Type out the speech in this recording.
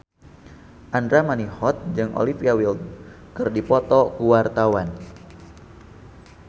Andra Manihot jeung Olivia Wilde keur dipoto ku wartawan